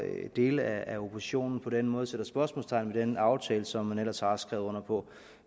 dele af oppositionen på den måde sætter spørgsmålstegn ved den aftale som man ellers har skrevet under på